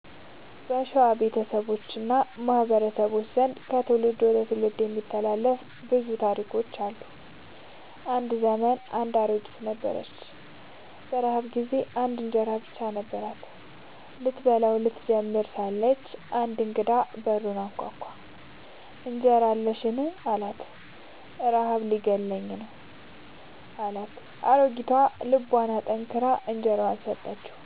በሸዋ ቤተሰቦች እና ማህበረሰቦች ዘንድ ከትውልድ ወደ ትውልድ የሚተላለፉ ብዙ አፈ ታሪኮች አሉ። አንድ ዘመን አንድ ድሃ አሮጊት ነበረች። በረሃብ ጊዜ አንድ እንጀራ ብቻ ነበራት። ስትበላው ልትጀምር ሳለች አንድ እንግዳ በሩን አንኳኳ፤ «እንጀራ አለኝን? ረሃብ እየገደለኝ ነው» አላት። አሮጊቷ ልቧን አጠንክራ እንጀራዋን ሰጠችው።